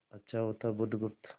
अच्छा होता बुधगुप्त